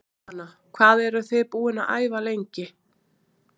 Jóhanna: Hvað eruð þið búin að æfa lengi?